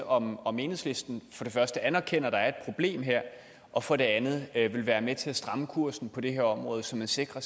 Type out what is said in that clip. om om enhedslisten for det første anerkender at der her er et problem og for det andet vil være med til at stramme kursen på det her område så vi sikrer